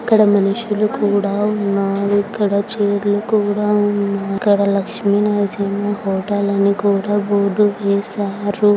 అక్కడ మనుషులు కూడా ఉన్నారు ఇక్కడ చైర్ లు కూడా ఉన్న ఇక్కడ లక్ష్మీ నరసింహ హోటల్ అని కూడా బోర్డు వేసారు.